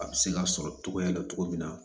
A bɛ se ka sɔrɔ togoya la cogo min na